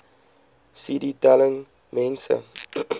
cd telling mense